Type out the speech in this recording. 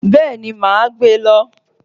Béeni, ma a gbe lo